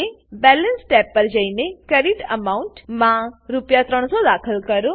balance balance tab પર જઈએ credit amount credit amount માં રૂ300 દાખલ કરો